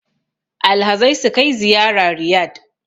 Alhazai sukai ziyara Riyad